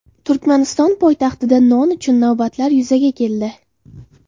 Turkmaniston poytaxtida non uchun navbatlar yuzaga keldi.